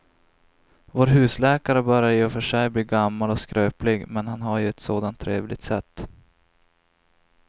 Vår husläkare börjar i och för sig bli gammal och skröplig, men han har ju ett sådant trevligt sätt!